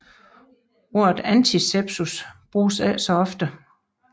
Ordet antisepsis bruges ikke så ofte